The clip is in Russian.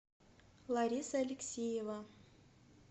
лариса алексеева